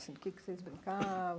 Assim do que que vocês brincavam?